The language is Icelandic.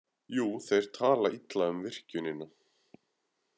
Jú, þeir tala illa um virkjunina.